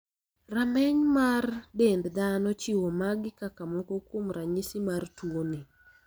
Rameny mar dend dhano chiwo magi kaka moko kuom ranyisi mar tuo ni.